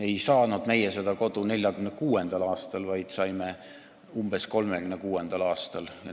Ei saanud meie seda kodu 1946. aastal, vaid umbes 1936. aastal.